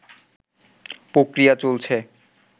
প্রক্রিয়া চলছে